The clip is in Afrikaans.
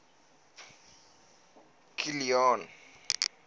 kilian